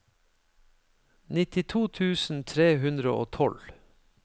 nittito tusen tre hundre og tolv